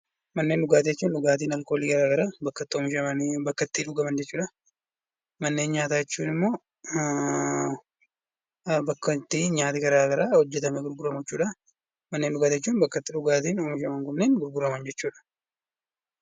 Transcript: Manneen dhugaatii jechuun dhugaatiiwwan alkoolii garaagaraa bakka itti oomishamanii dhugaman jechuudha. Manneen nyaataa jechuun immoo bakka itti nyaanni garaagaraa hojjatamuun gurguramu jechuudha.